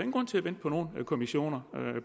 grund til at vente på nogen kommissioner